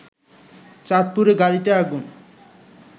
চাঁদপুরে গাড়িতে আগুন